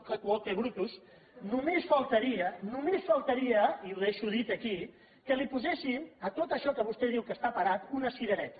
tu quoque brutus només faltaria i ho deixo dit aquí que poséssim a tot això que vostè diu que està parat una cirereta